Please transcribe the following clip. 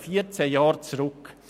Dieser liegt 14 Jahre zurück.